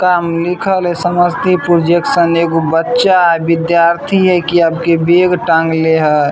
काम लिखल हेय समस्तीपुर जैक्शन एगो बच्चा हेय विद्यार्थी हेय की अब की बैग टांगले हेय ।